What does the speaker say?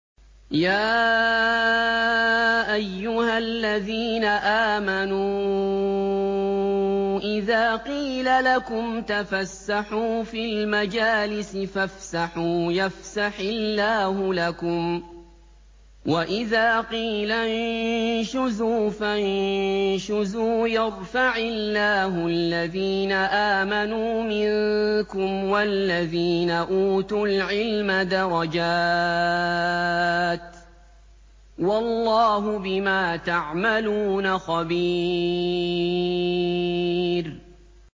يَا أَيُّهَا الَّذِينَ آمَنُوا إِذَا قِيلَ لَكُمْ تَفَسَّحُوا فِي الْمَجَالِسِ فَافْسَحُوا يَفْسَحِ اللَّهُ لَكُمْ ۖ وَإِذَا قِيلَ انشُزُوا فَانشُزُوا يَرْفَعِ اللَّهُ الَّذِينَ آمَنُوا مِنكُمْ وَالَّذِينَ أُوتُوا الْعِلْمَ دَرَجَاتٍ ۚ وَاللَّهُ بِمَا تَعْمَلُونَ خَبِيرٌ